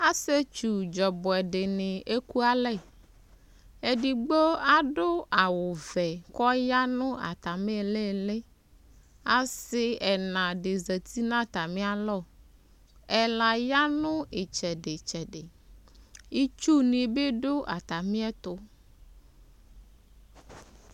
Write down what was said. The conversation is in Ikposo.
asietsu dzɔ ɔboɛ dini eku alɛ edigbo ado awu vɛ k'ɔya no atami ilili ase ɛna di zati n'atami alɔ ɛla ya no itsɛdi tsɛdi itsu ni bi do atamiɛto